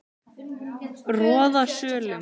Roðasölum